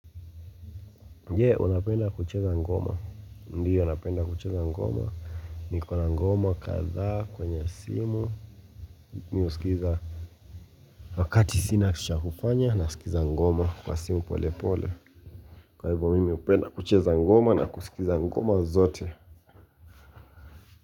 Je unapenda kucheza ngoma Ndiyo napenda kucheza ngoma Nikona ngoma kadhaa kwenye simu Mi husikiza wakati sina cha kufanya na usikiza ngoma kwa simu pole pole Kwa hivyo mimi upenda kucheza ngoma na kusikiza ngoma zote.